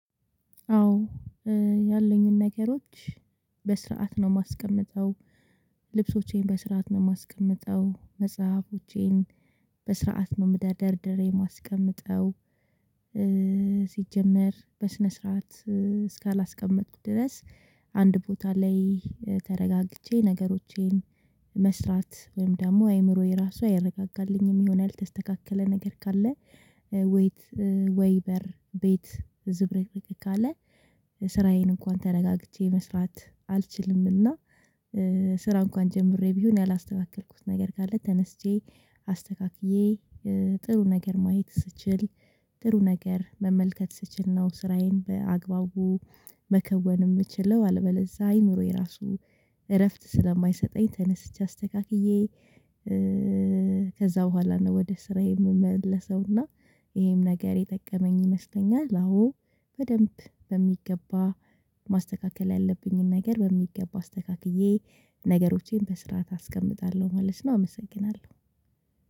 አዎ ያለኝን ነገሮች በስርዓት ነው ማስቀምጠው ልብሶቼን በስርዓት ነው ማስቀምጠው መጽሐፎቼን በስርዓት ነው ደርድሬ የማስቀምጠው። ሲጀመር በስነ ስርዓት እስካላስቀመጥኩ ድረስ አንድ ቦታ ላይ ተረጋግቼ ነገሮቼን መስራት ወይም ደግሞ አይምሮዬ ራሱ አይረጋጋልኝም የሆነ ያልተስተካከለ ነገር ካለ ወይት ወይበር ቤት ዝብርቅረቅ ካለ ስራዬን እንኳን ተረጋግቼ መስራት አልችልም። እና ስራ እንኳን ጀምሬ ቢሆን ያላስተካከልኩት ነገር ካለ ተነስቼ አስተካክዬ ጥሩ ነገር ማየት ስችል ጥሩ ነገር መመልከት ስችል ነው። ስራዬን በአግባቡ መከወን ምችለው አልበለዛ አይኑሮ የራሱ እረፍት ስለማይሰጠኝ ተነስቼ አስተካክዬ። ከዛ በኋላ ነው ወደ ስራዬ ምመለሰውና ይሄም ነገር የጠቀመኝ ይመስለኛል። አሁን በደንብ በሚገባ ማስተካከል ያለብኝን ነገር በሚገባ አስተካክዬ ነገሮቼን በስርዓት አስቀምጣለሁ ማለት ነው አመሰግናለሁ።